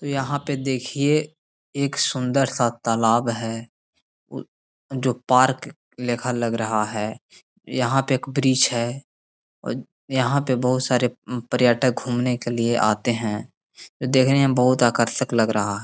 तो यहाँ पे देखिए एक सुन्दर सा तालाब है उ जो पार्क लेखा लग रहा है। यहाँ पे एक वृक्ष है। अज् यहाँ पे बहुत सारे उम्म पर्यटक घूमने के लिए आते हैं। देखने में बहुत आकर्षक लग रहा --